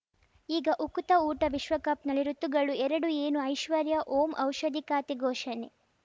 ಈಗ ಉಕುತ ಊಟ ವಿಶ್ವಕಪ್‌ನಲ್ಲಿ ಋತುಗಳು ಎರಡು ಏನು ಐಶ್ವರ್ಯಾ ಓಂ ಔಷಧಿ ಖಾತೆ ಘೋಷಣೆ